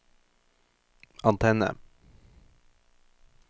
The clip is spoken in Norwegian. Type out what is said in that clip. antenne